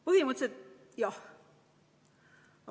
Põhimõtteliselt jah.